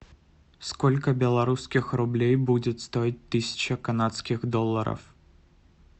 сколько белорусских рублей будет стоить тысяча канадских долларов